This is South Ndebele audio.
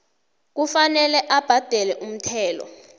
kufanele abhadele umthelo